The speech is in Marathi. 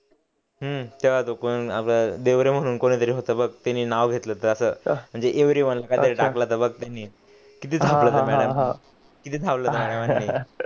हम्म तेव्हा तो कोण देवरे म्हणून कुणीतरी होत बघ त्यांनी नाव घेतलं होत आस म्हणजे एव्रिवन काहितरी टाकलं होत बघ त्यांनी हा हा हा